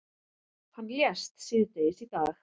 Hann lést síðdegis í dag.